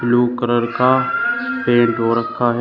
Blue colour का paint हो रखा है।